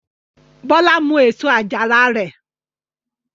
Bọ́lá mú èso àjàrà rẹ?